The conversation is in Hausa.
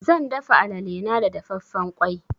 Zan dafa alale na da dafaffen ƙwai.